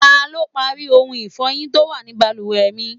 Ta lọ parí ohun ifọyin tó wà ní bàlùwẹ̀ mi?